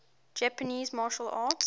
japanese martial arts